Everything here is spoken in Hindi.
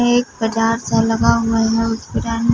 ये एक बजारसा लगा हुआ है उस बजार में--